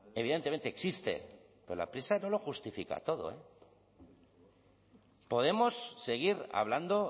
evidentemente existe pero la prisa no lo justifica todo podemos seguir hablando